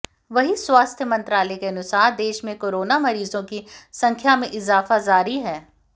वहीं स्वास्थ्य मंत्रालय के अनुसार देश में कोरोना मरीजों की संख्या में इजाफा जारी है